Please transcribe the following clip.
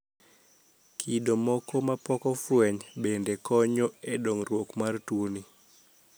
Kido moko mapokofweny bende konyo e dongruok mar tuoni.